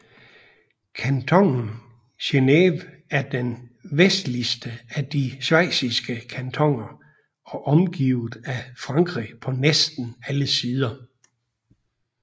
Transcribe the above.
Kantonen Geneve er den vestligste af de schweiziske kantoner og omgivet af Frankrig på næsten alle sider